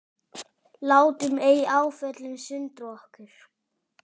Látum ei áföllin sundra okkur.